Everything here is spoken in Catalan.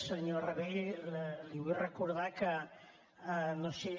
senyor rabell li vull recordar que no sé